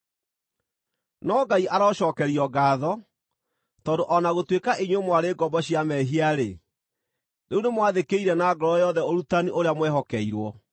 No Ngai arocookerio ngaatho, tondũ o na gũtuĩka inyuĩ mwarĩ ngombo cia mehia-rĩ, rĩu nĩmwathĩkĩire na ngoro yothe ũrutani ũrĩa mwehokeirwo.